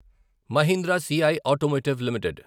Mahindra CI automotive limited